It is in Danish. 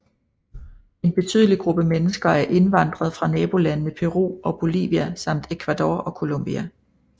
En betydelig gruppe mennesker er indvandret fra nabolandene Peru og Bolivia samt Ecuador og Colombia